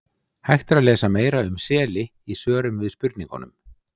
Hægt er að lesa meira um seli í svörum við spurningunum: